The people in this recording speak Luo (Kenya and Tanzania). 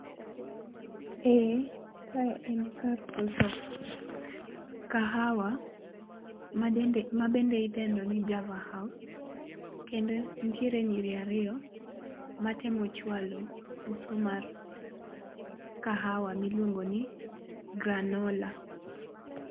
Eeh. Kae en kar uso kahawa madende mabende idendo ni Java house, kendo ntiere nyirir ario matemo chwalo uso mar kahawa miluongo ni granola